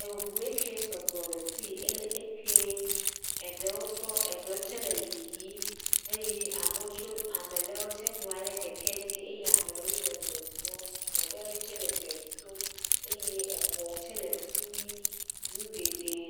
Eŋue ke sugbɔ le fii. Ele ekee. Eɖewo tsɔ eɖewo tsɛ le yiyii eye amewo tso ame ɖewo nɔ anyi ɖe keke dzi. Eye amewo le zɔzɔɔ. Ame ɖewoe tsɛ le dze dom. Eye exɔwo tsɛ le fi mi. Nu geɖee